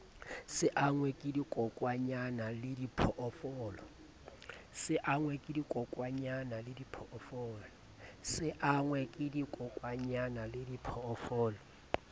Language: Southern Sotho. se angwe ke dikokwanyana lediphoofolo